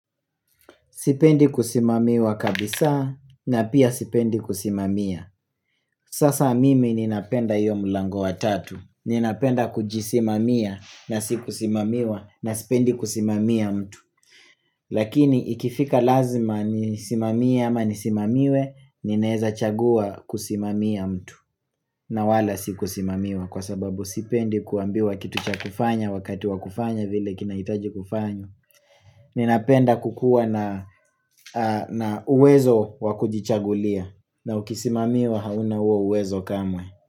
Sipendi kusimamiwa kabisa na pia sipendi kusimamia Sasa mimi ninapenda hiyo mlango wa tatu Ninapenda kujisimamiwa na sikusimamiwa na sipendi kusimamia mtu Lakini ikifika lazima nisimamie ama nisimamiwe Nineza chagua kusimamia mtu na wala sikusimamiwa kwa sababu sipendi kuambiwa kitu cha kufanya Wakati wa kufanya vile kinaitaji kufanywa Ninapenda kukua na uwezo wakujichagulia na ukisimamiwa hauna uwezo kamwe.